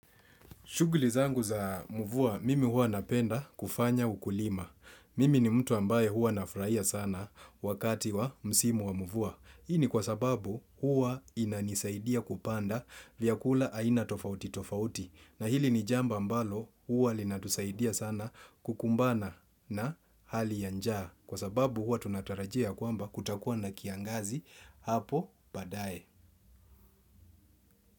Shughuli zangu za mvua, mimi huwa napenda kufanya ukulima. Mimi ni mtu ambaye hua nafurahia sana wakati wa msimu wa mvua. Hii ni kwa sababu hua inanisaidia kupanda vyakula aina tofauti tofauti. Na hili ni jambo ambalo huwa linatusaidia sana kukumbana na hali ya njaa. Kwa sababu hua tunatarajia kwamba kutakuwa na kiangazi hapo baadae.